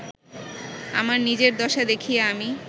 আমার নিজের দশা দেখিয়া আমি